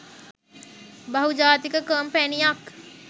බහුජාතික කොම්පැනියක්